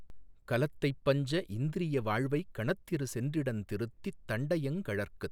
கலத்தைப்பஞ்ச இந்த்ரியவாழ்வைக் கணத்திற் சென்றிடந்திருத்தித் தண்டையங்கழற்கு